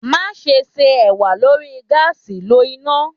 Maṣe ṣe ewa lori gaasi lo ina